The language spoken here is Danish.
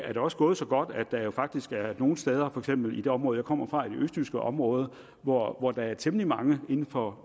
er da også gået så godt at der jo faktisk er nogle steder for eksempel i det område jeg kommer fra i det østjyske område hvor hvor der er temmelig mange inden for